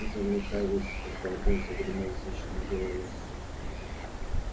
и заглушая весь этот галдёж гремел зычный голос